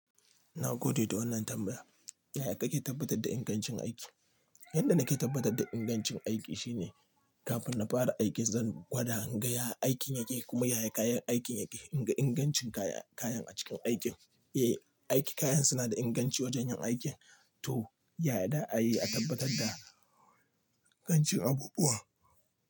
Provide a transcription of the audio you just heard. Na gode da wannan tambaya. Yaya kake tabbatar da ingancin aiki? Yanda nake tabbatar da ingancin aiki shine kafin na fara aiki zan gwada in ga ya aikin yake kuma yaya kayan aikin yake. In ga ingancin kayan a cikin aikin, eh aiki kayan suna da inganci wajen yin aikin to yaya za a yi a tabbatar da ingancin abubuwa?